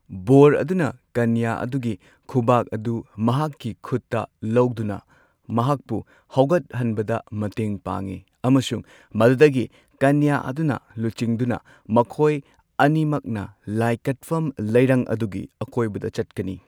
ꯕꯣꯔ ꯑꯗꯨꯅ ꯀꯅ꯭ꯌ ꯑꯗꯨꯒꯤ ꯈꯨꯕꯥꯛ ꯑꯗꯨ ꯃꯍꯥꯛꯀꯤ ꯈꯨꯠꯇ ꯂꯧꯗꯨꯅ ꯃꯍꯥꯛꯄꯨ ꯍꯧꯒꯠꯍꯟꯕꯗ ꯃꯇꯦꯡ ꯄꯥꯡꯏ ꯑꯃꯁꯨꯡ ꯃꯗꯨꯗꯒꯤ ꯀꯅ꯭ꯌ ꯑꯗꯨꯅ ꯂꯨꯆꯤꯡꯗꯨꯅ ꯃꯈꯣꯏ ꯑꯅꯤꯃꯛꯅ ꯂꯥꯏ ꯀꯠꯐꯝ ꯂꯩꯔꯪ ꯑꯗꯨꯒꯤ ꯑꯀꯣꯏꯕꯗ ꯆꯠꯀꯅꯤ꯫